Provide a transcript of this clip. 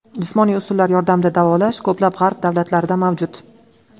Jismoniy usullar yordamida davolash ko‘plab g‘arb davlatlarida mavjud.